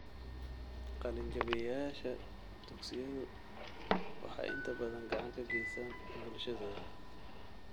Qalinjabiyeyaasha dugsiyadu waxay inta badan gacan ka geystaan ??bulshadooda.